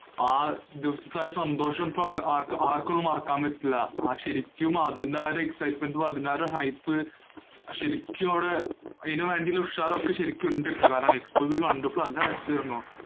ആ സന്തോഷം ഇപ്പൊ ആര്‍ക്കും അത് മാറ്റാന്‍ പറ്റൂല. ശരിക്കും അതിനാലെ excitement ഉം, അതിനാലെ hype ശരിക്കും അവിടെ അതിനു വേണ്ടിയുള്ള ഉഷാറൊക്കെ ശരിക്കും ഉണ്ടേട്ടോ. കാരണം expo കണ്ടപ്പോ നല്ല രസാരുന്നു.